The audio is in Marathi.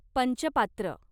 पंचपात्र